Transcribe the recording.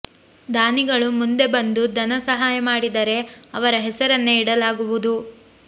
ದಾನಿಗಳು ಮುಂದೆ ಬಂದು ಧನ ಸಹಾಯ ಮಾಡಿದರೆ ಅವರ ಹೆಸರನ್ನೇ ಇಡಲಾಗುವುದು